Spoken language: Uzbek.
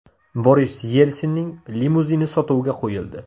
Boris Yelsinning limuzini sotuvga qo‘yildi.